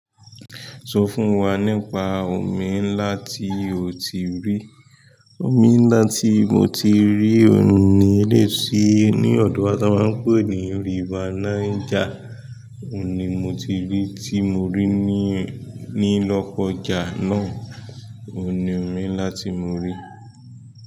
Sọ fún wa nípa omi ńlá tí oti rí, omi ńlá tí moti rí òun ni eleyi ti ní ọdọ tan máa ń pè ní river niger. Òun ni mo tí rí, tí mo rí ní, ní lọkọja náà. Òun ni omi ńlá tí mori.